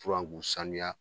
Furan k'u saniya